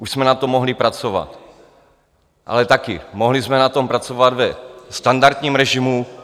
Už jsme na tom mohli pracovat, ale taky, mohli jsme na tom pracovat ve standardním režimu.